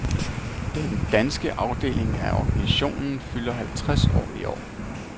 Den danske afdeling af organisationen fylder halvtreds år i år.